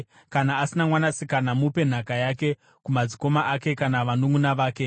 Kana asina mwanasikana, mupe nhaka yake kumadzikoma ake kana vanunʼuna vake.